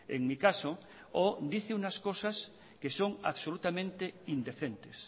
en mi caso o dice unas cosas que son absolutamente indecentes